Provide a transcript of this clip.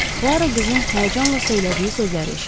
Puaro qızın həyəcanla söylədiyi sözləri eşitdi.